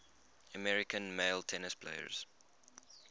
american male tennis players